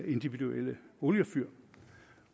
individuelle oliefyr